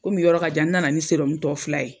Ko mi yɔrɔ ka jan n nana ni tɔ fila ye